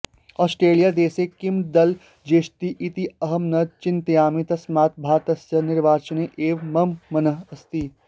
ओस्ट्रेलियादेशे किं दलं जेष्यति इति अहं न चिन्तयामि तस्मात् भारतस्य निर्वाचने एव मम मनः अस्ति